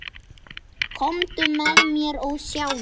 Komdu með mér og sjáðu.